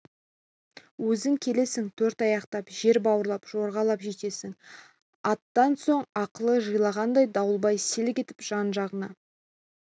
өзің келесің төрт аяқтап жер бауырлап жорғалап жетесің анттан соң ақылы жиылғандай дауылбай селк етіп жан-жағына